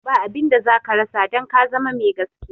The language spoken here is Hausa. Ba abinda zaka rasa don ka zama me gaskiya.